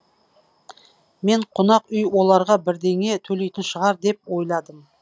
мен қонақ үй оларға бірдеңе төлейтін шығар деп ойладым